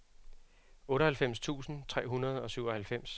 otteoghalvfems tusind tre hundrede og syvoghalvfems